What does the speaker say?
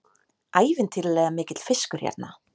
Ævintýralega mikill fiskur hérna